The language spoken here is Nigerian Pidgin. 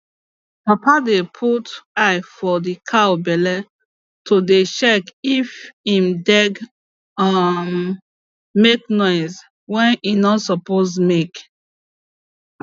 papa dey put eye for the cow belle to dey dey check if en deg um make noise wey e no suppose make